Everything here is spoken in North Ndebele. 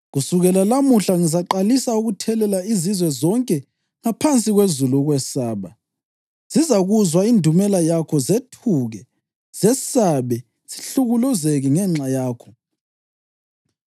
Kusukela lamuhla ngizaqalisa ukuthelela izizwe zonke ngaphansi kwezulu ukukwesaba. Zizakuzwa indumela yakho zethuke zesabe zihlukuluzeke ngenxa yakho.’